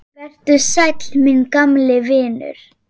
Vertu sæll, minn gamli vinur.